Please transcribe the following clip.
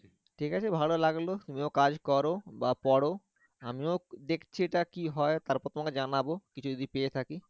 ঠিক আছে ভালো লাগলো তুমি ও কাজ করা বা পড়, আমিও দেখছি এটা কি হয়? তারপর তোমাকে যানাবো কিছু যদি পেয়ে থাকি